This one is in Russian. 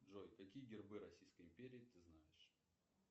джой какие гербы российской империи ты знаешь